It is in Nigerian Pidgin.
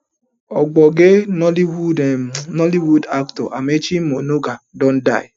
ogbonge nollywood um nollywood actor amaechi muonagor don die